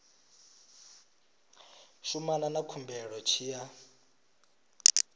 shumana na khumbelo tshi ya